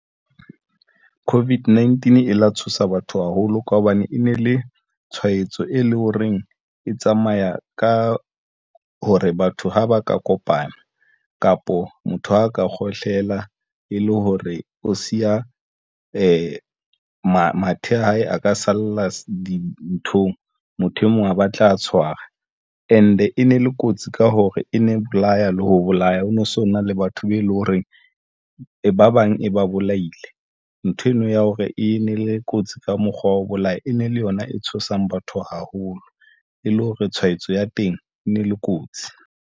COVID-19 e la tshosa batho haholo ka hobane e ne le tshwaetso e leng ho reng e tsamaya ka hore batho ha ba ka kopana kapo motho ha a ka kgohlela e le hore o siya mathe a hae a ka salla dinthong. Motho e mong a batla a tshwara. And e ne le kotsi ka hore e ne bolaya le ho bolaya ono. So na le batho be leng hore reng ba bang e ba bolaile nthwena ya hore e ne le kotsi ka mokgwa wa ho bolaya. E ne le yona e tshosang batho haholo e le hore tshwaetso ya teng e ne le kotsi.